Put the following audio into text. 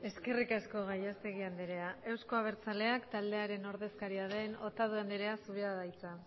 eskerrik asko gallastegui andrea euzko abertzaleak taldearen ordezkaria den otadui andreak dauka hitza